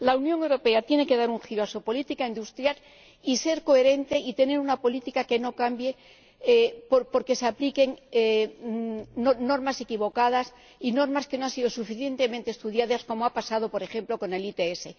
La Unión Europea tiene que dar un giro a su política industrial y ser coherente y tener una política que no cambie porque se apliquen normas equivocadas y normas que no han sido suficientemente estudiadas, como ha pasado por ejemplo con el ETS.